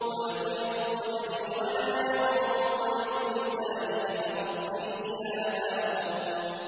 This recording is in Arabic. وَيَضِيقُ صَدْرِي وَلَا يَنطَلِقُ لِسَانِي فَأَرْسِلْ إِلَىٰ هَارُونَ